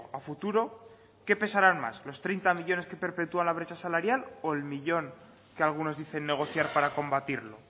a futuro qué pesaran más los treinta millónes que perpetúa la brecha salarial o el millón que algunos dicen negociar para combatirlo